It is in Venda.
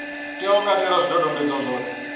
tea u katela zwidodombedzwa zwothe